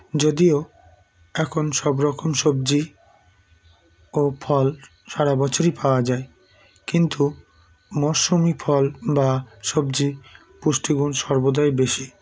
যদিও এখন সবরকম সবজি ও ফল সারা বছরই পাওয়া যায় কিন্তু মরশুমি ফল বা সবজির পুষ্টিগুণ সর্বদাই বেশি